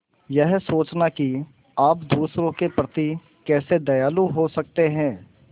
यह सोचना कि आप दूसरों के प्रति कैसे दयालु हो सकते हैं